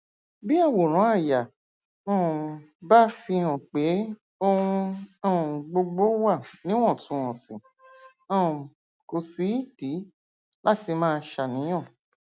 bí àwòrán àyà um bá fihàn pé ohun um gbogbo wà níwọntúnwọnsì um kò sídìí láti máa ṣàníyàn